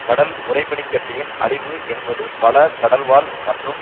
கடல் உறை பனி கட்டியின் அழிவு என்பது பல கடல்வாழ் மற்றும்